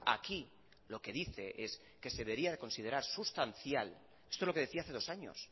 aquí lo que dice es que se debería considerar sustancial esto es lo que decía hace dos años